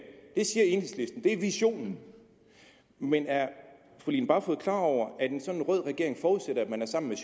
det siger enhedslisten det er visionen men er fru line barfod klar over at en sådan rød regering forudsætter at man er sammen med